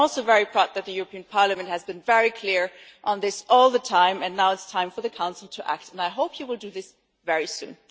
I am also very proud that the European Parliament has been very clear on this all the time and now it is time for the Council to act, and I hope it will do this very soon.